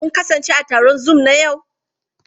Kun kasance a taron Zoom na yau?